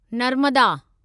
Narmada